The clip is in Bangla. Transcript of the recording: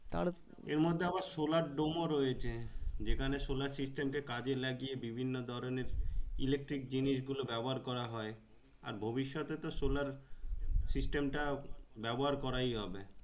এর মধ্যে আবার solardome ও রয়েছে যেখানে solar system কে কাজে লাগিয়ে বিভিন্ন ধরণের electric জিনিস গুলো ব্যবহার করা হয় আর ভবিষ্যতে তো solar system টা ব্যবহার করেই হবে।